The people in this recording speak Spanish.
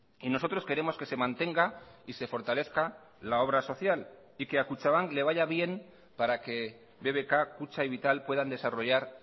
y nosotros queremos que se mantenga y se fortalezca la obra social y que a kutxabank le vaya bien para que bbk kutxa y vital puedan desarrollar